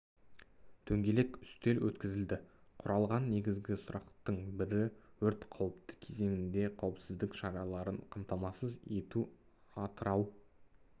дөңгелек үстел өткізілді қарлған негізгі сұрақтың бірі өрт қауіпті кезеңінде қауіпсіздік шараларын қамтамасыз ету атырау